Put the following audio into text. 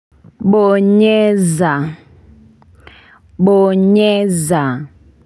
Bonyeza Bonyeza.